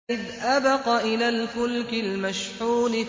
إِذْ أَبَقَ إِلَى الْفُلْكِ الْمَشْحُونِ